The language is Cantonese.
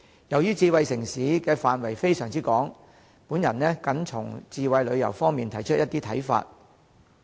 由於智慧城市涉及的範疇非常廣泛，我僅從智慧旅遊方面提出一些看法。